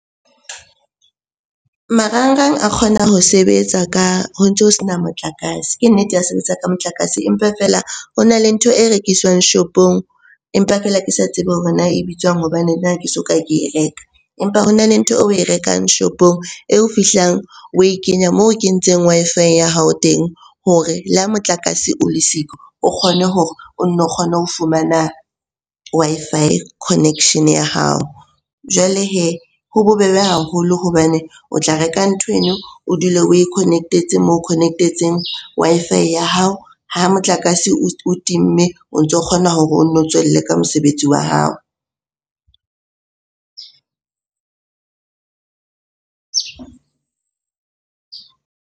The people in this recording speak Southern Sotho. Marangrang a kgona ho sebetsa ka, ho ntso ho sena motlakase. Ke nnete ya sebetsa ka motlakase, empa feela ho na le ntho e rekiswang shopong empa feela ke sa tsebe hore na e bitswang hobane nna ha ke soka ke e reka. Empa hona le ntho eo oe rekang shopong eo fihlang oe kenya moo o kentseng Wi-Fi ya hao teng hore le ha motlakase o le siko o kgone hore o nne o kgone ho fumana Wi-Fi connection ya hao. Jwale hee ho bobebe haholo hobane o tla reka nthweno, o dule oe connect-etse moo connect-etseng Wi-Fi ya hao. Ha motlakase o timme o ntso kgona hore o nno tswelle ka mosebetsi wa hao.